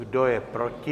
Kdo je proti?